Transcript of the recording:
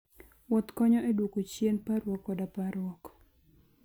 Wuoth konyo e duoko chien parruok koda parruok.